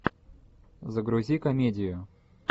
загрузи комедию